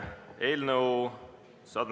Tere päevast!